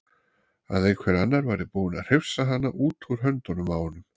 Að einhver annar væri búinn að hrifsa hana út úr höndunum á honum.